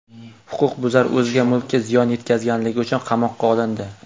Huquqbuzar o‘zga mulkka ziyon yetkazganligi uchun qamoqqa olindi.